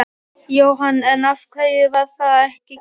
Jóhann: En af hverju var það ekki gert?